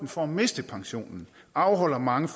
for at miste pensionen afholder mange